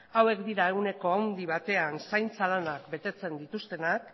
hauek dira ehuneko handi batean zaintza lanak betetzen dituztenak